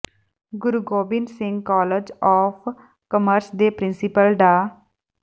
Guru Gobind Singh college of commerce ਦੇ principal ਡਾ